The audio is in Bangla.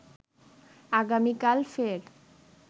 আগামীকাল ফের